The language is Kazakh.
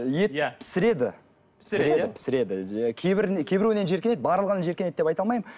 ет пісіреді пісіреді кейбіреуінен жиіркенеді барлығынан жиіркенеді деп айта алмаймын